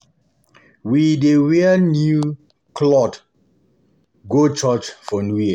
We dey wear new clot go church for New Year.